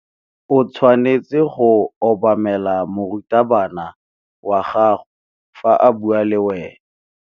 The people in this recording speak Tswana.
O tshwanetse go obamela morutabana wa gago fa a bua le wena.